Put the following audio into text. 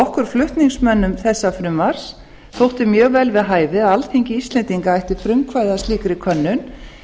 okkur flutningsmönnum þessa frumvarps þótti mjög vel við hæfi að alþingi íslendinga ætti frumkvæði að slíkri könnun